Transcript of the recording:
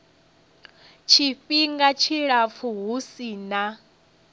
tshifhinga tshilapfu hu si na